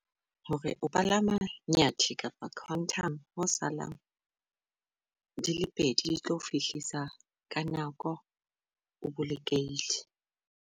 Hore o palama Nyathi kapa Quantum, ho salang di le pedi, di tlo fihlisa ka nako, o bolokehile.